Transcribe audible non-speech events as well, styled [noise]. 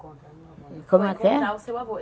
Encontrar [unintelligible] como é que é? para encontrar o seu avô.